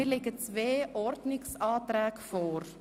Mir liegen zwei Ordnungsanträge vor.